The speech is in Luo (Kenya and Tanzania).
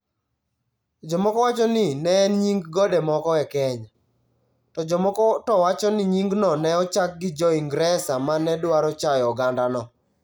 Jomoko wacho ni ne en nying gode moko e Kenya, to jomoko to wacho ni nyingno ne ochaki gi Jo-Ingresa ma ne dwaro chayo ogandano.